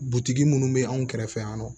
Butigi minnu bɛ anw kɛrɛfɛ yan nɔ